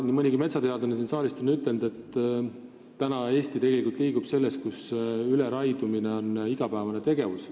Nii mõnigi metsateadlane on siin saalis öelnud, et praegu liigub Eesti tegelikult selles suunas, kus üleraiumine on igapäevane tegevus.